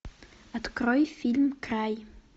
открой фильм край